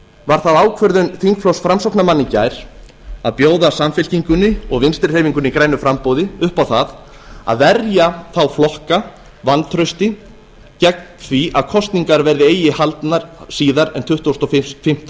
var það ákvörðun þingflokks framsóknarmanna í gær að bjóða samfylkingunni og vinstri hreyfingunni grænu framboði upp á það að verja þá flokka vantrausti gegn því að kosningar verði eigi haldnar síðar en tuttugasta og fimmta